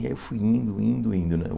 Aí eu fui indo, indo, indo né.